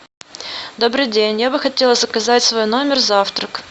добрый день я бы хотела заказать в свой номер завтрак